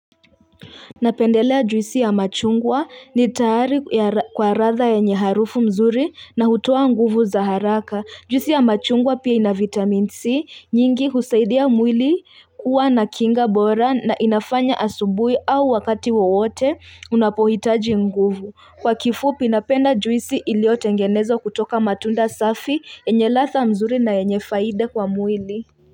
Napendelea juisi ya machungwa ni tayari kwa ladha yenye harufu nzuri na hutoa nguvu za haraka. Juisi ya machungwa pia ina vitamin C nyingi husaidia mwili kuwa na kinga bora na inafanya asubuhi au wakati wowote unapohitaji nguvu. Kwa kifupi napenda juisi iliyotengenezwa kutoka matunda safi yenye ladha mzuri na yenye faida kwa mwili.